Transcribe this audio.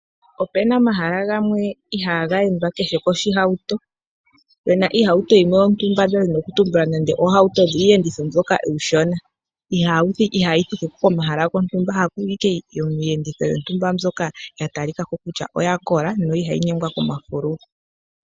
Opena omahala gamwe ihaa ga endwa ku kehe oshihauto. Peena iihauto yimwe yontumba ndadhini okutumbula nande iihauto mbyoka iishona ihaa yi thiki komahala gontumba haku yi ashike iiyenditho mbyoka yakola ihaayi nyengwa komafululu.